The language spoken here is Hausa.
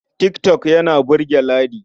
Tik tok yana burge Ladi.